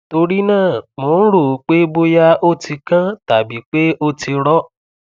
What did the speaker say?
torí náà mo ń rò ó pé bóyá ó ti kán tàbí pé ó ti rọ